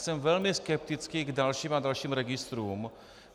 Jsem velmi skeptický k dalším a dalším registrům.